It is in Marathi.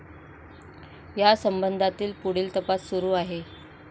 या संबंधातील पुढील तपास सुरू आहे.